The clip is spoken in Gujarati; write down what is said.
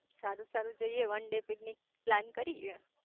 સારું સારું જઇયે વેન ડે પિકનિક પ્લાન કરીયે